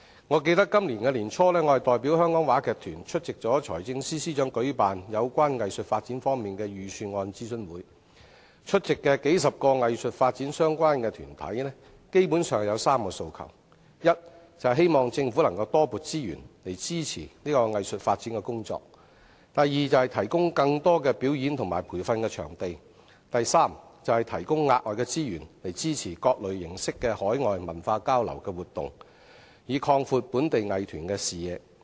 我記得我在今年年初，代表香港話劇團出席財政司司長舉辦有關藝術發展方面的財政預算案諮詢會，出席的數十個與藝術發展相關的團體基本上有3個訴求：第一，希望政府多撥資源以支持藝術發展的工作；第二，提供更多表演及培訓場地；第三，提供額外資源以支持各種形式的海外文化交流活動，以擴闊本地藝團的視野。